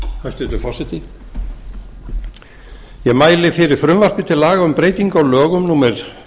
hæstvirtur forseti ég mæli fyrir frumvarpi til laga um breytingu á lögum númer